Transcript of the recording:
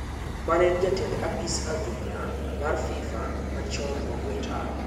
Mane en jatend apis adhula mar FIFA machon ogwee tao.